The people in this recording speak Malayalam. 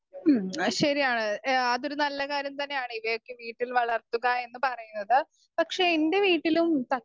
സ്പീക്കർ 2 മ്മ് അയ്ശ്ശരിയാണ് ഏഹ് അതൊരു നല്ല കാര്യം തന്നെയാണ് ഇവയൊക്കെ വീട്ടിൽ വളർത്തുക എന്ന് പറയുന്നത്.പക്ഷേ എൻ്റെ വീട്ടിലും ത